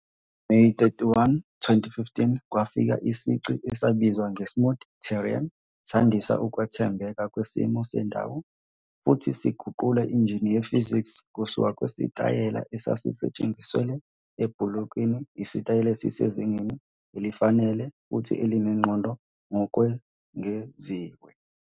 NgoMeyi 31, 2015, kwafakwa isici esibizwa nge-'Smooth Terrain', sandisa ukuthembeka kwesimo sendawo futhi siguqula injini ye-physics kusuka kwisitayela esasisetshenziselwe ebhulokini isitayela esisezingeni elifanele futhi elinengqondo ngokwengeziwe.